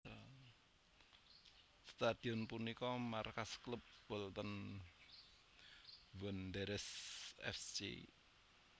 Stadion punika markas klub Bolton Wanderers F C